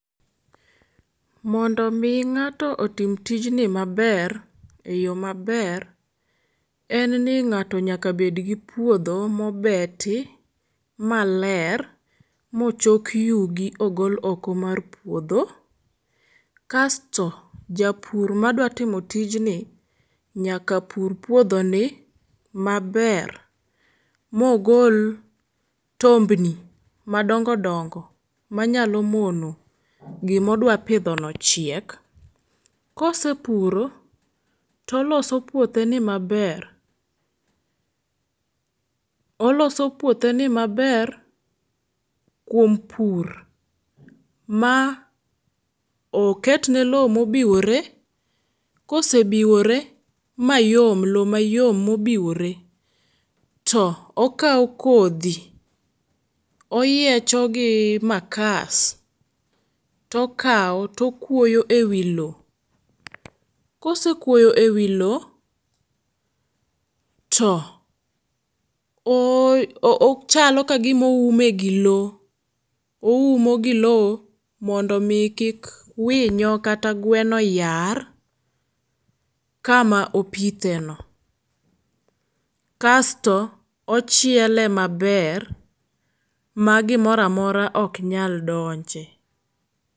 Mondo mi ng'ato otim tijni maber eyo maber en ni ng'ato nyaka bedgi puodho mobeti maler mochok yugi ogol oko mar puodho. Kasto japur madwa timo tijni nyaka pur puodhoni maber mogol tombni madongo dongo manyalo mono gima odwa pidhono chiek. Kose puro toloso puotheni maber oloso puothe ni maber kuom pur ma oketne loo mobiwore. Kose biwore mayom loo mayom mobiwore to okawo kodhi oyiechogi makas to kawo to okuoyo ewi loo. Kose kuoyo ewi loo, to ochalo kagima oume gi loo oumo gi loo mondo mi kik winyo kata gweno yar kama opitheno. Kasto ochiele maber ma gimoro amora ok nyal donje.